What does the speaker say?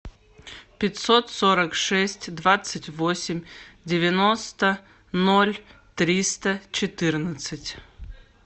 пятьсот сорок шесть двадцать восемь девяносто ноль триста четырнадцать